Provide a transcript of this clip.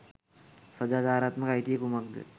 සදාචාරාත්මක අයිතිය කුමක්ද?